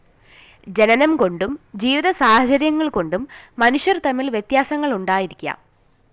ജനനംകൊണ്ടും ജീവിതസാഹചര്യങ്ങള്‍കൊണ്ടും മനുഷ്യര്‍ തമ്മില്‍ വ്യത്യാസങ്ങള്‍ ഉണ്ടായിരിക്കാം